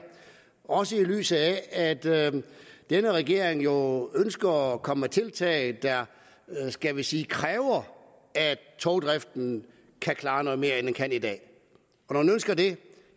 også i lyset af at denne regering jo ønsker at komme med tiltag der skal vi sige kræver at togdriften kan klare noget mere end den kan i dag når man ønsker det